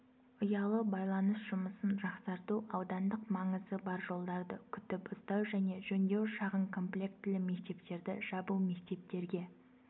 ұялы байланыс жұмысын жақсарту аудандық маңызы бар жолдарды күтіп-ұстау және жөндеу шағын комплектілі мектептерді жабу мектептерге